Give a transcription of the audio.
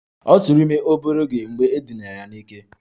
Ọ tụụrụ ime obere oge mgbe e dinara ya n'ike